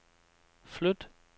flyt